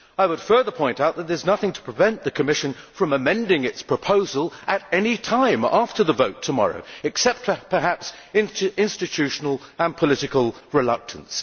I would further point out that there is nothing to prevent the Commission from amending its proposal at any time after the vote tomorrow, except perhaps institutional and political reluctance.